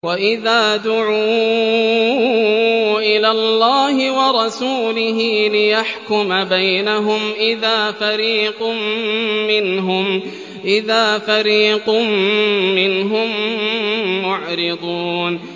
وَإِذَا دُعُوا إِلَى اللَّهِ وَرَسُولِهِ لِيَحْكُمَ بَيْنَهُمْ إِذَا فَرِيقٌ مِّنْهُم مُّعْرِضُونَ